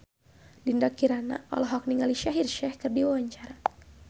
Dinda Kirana olohok ningali Shaheer Sheikh keur diwawancara